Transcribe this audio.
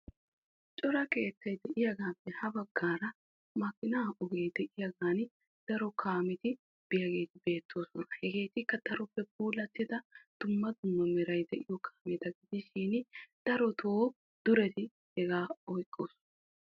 Cora keettay de'iyagettuppe ha bagan cora kaametti de'iyagetti beetosonna darotto duretti hagaa oottosonna.